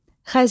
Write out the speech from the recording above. Xəzri.